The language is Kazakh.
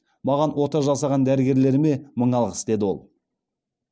маған ота жасаған дәрігерлеріме мың алғыс деді ол